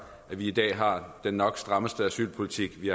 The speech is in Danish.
at vi i dag har den nok strammeste asylpolitik vi